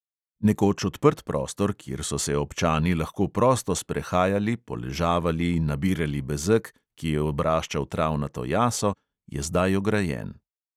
Nekoč odprt prostor, kjer so se občani lahko prosto sprehajali, poležavali, nabirali bezeg, ki je obraščal travnato jaso, je zdaj ograjen.